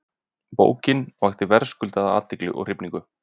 Bókin vakti verðskuldaða athygli og hrifningu.